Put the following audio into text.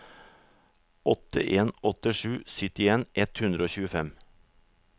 åtte en åtte sju syttien ett hundre og tjuefem